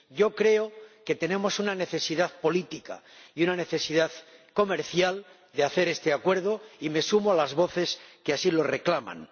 Yo creo que tenemos una necesidad política y una necesidad comercial de hacer este Acuerdo y me sumo a las voces que así lo reclaman.